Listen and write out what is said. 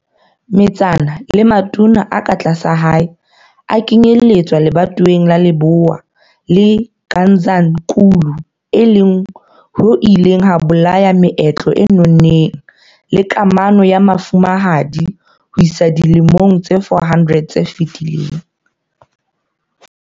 Metsana le matona a ka tlasa hae a kenyelletswa lebatoweng la Lebowa le Gazankulu e leng ho ileng ha bolaya meetlo e nonneng le kamano ya mofumahadi ho isa dilemong tse 400 tse fetileng.